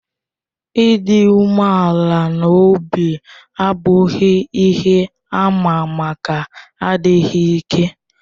Ịdị umeala n'obi abụghị ihe àmà maka adịghị ike.